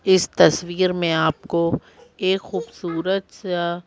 इस तस्वीर में आपको एक खूबसूरत सा--